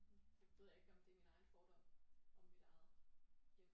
Nu ved jeg ikke om det er min egen fordom om mit eget hjem